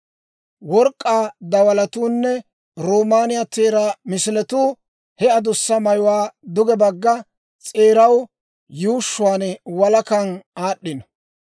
Work'k'aa dawalatuunne roomaaniyaa teeraa misiletuu he adussa mayuwaa duge bagga s'eeraw yuushshuwaan walakan aad'd'ino.